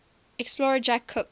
explorer james cook